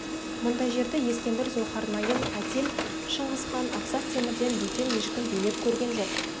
мұндай жерді ескендір зұлхарнайын әтиль шыңғысхан ақсақ темірден бөтен ешкім билеп көрген жоқ